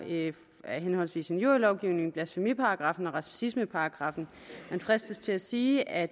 af henholdsvis injurielovgivningen blasfemiparagraffen og racismeparagraffen man fristes til at sige at